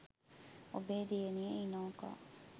ඔබේ දියණිය ඉනෝකා